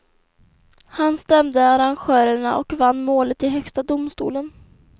Han stämde arrangörerna och vann målet i högsta domstolen.